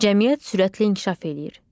Cəmiyyət sürətlə inkişaf eləyir.